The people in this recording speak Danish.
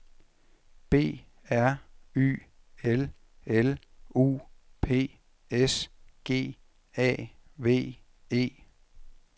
B R Y L L U P S G A V E